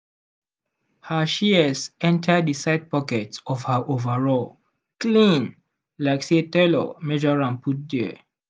her shears enter the side pocket of her overall clean like say tailor measure am put there.